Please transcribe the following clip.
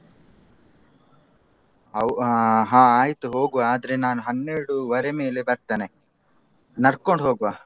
ಆ ಹಾ ಆಯ್ತು ಹೋಗ್ವ ಆದ್ರೆ ನಾನು ಹನ್ನೆರಡುವರೆ ಮೇಲೆ ಬರ್ತೇನೆ. ನಡ್ಕೊಂಡ್ ಹೋಗ್ವ.